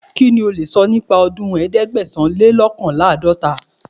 Kí ni o lè sọ nípa ọdún ẹ̀ẹ́dẹ́gbẹ̀sán-le-lọ́kànléláàdọ́ta?